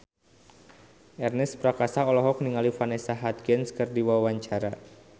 Ernest Prakasa olohok ningali Vanessa Hudgens keur diwawancara